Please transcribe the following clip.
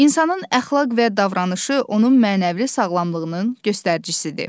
İnsanın əxlaq və davranışı onun mənəvi sağlamlığının göstəricisidir.